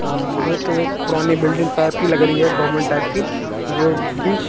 अह ये तो एक पुरानी बिल्डिंग टाइप की लग रही है गवर्नमेंट टाइप की जो बीच--